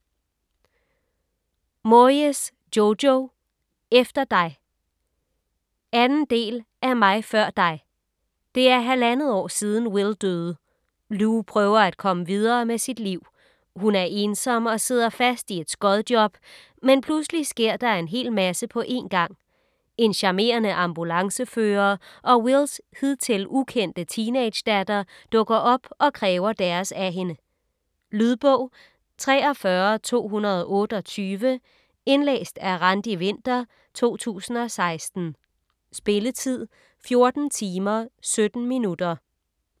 Moyes, Jojo: Efter dig 2. del af Mig før dig. Det er halvandet år siden, Will døde. Lou prøver at komme videre med sit liv. Hun er ensom og sidder fast i et skodjob, men pludselig sker der en hel masse på en gang. En charmerende ambulancefører og Wills hidtil ukendte teenagedatter dukker op og kræver deres af hende. . Lydbog 43228 Indlæst af Randi Winther, 2016. Spilletid: 14 timer, 17 minutter.